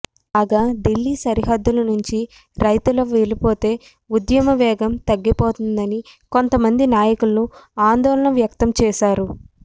కాగా దిల్లీ సరిహద్దుల నుంచి రైతుల వెళ్లిపోతే ఉద్యమ వేగం తగ్గిపోతుందని కొంతమంది నాయకులు ఆందోళన వ్యక్తం చేశారు